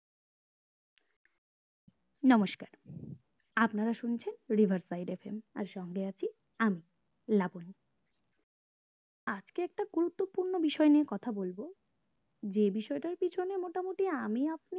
নমস্কার আপনারা শুনছেন riverside FM আর সঙ্গে আছি আমি লাবনি আজ কে একটা গুরুত্বপূর্ণ বিষয় নিয়ে কথা বলবো যে বিষয়টার পিছনে মোটামোটি আমি আপনি